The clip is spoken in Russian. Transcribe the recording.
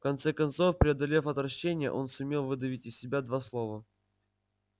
в конце концов преодолев отвращение он сумел выдавить из себя два слова